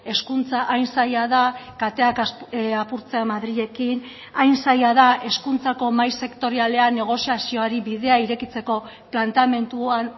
hezkuntza hain zaila da kateak apurtzea madrilekin hain zaila da hezkuntzako mahai sektorialean negoziazioari bidea irekitzeko planteamenduan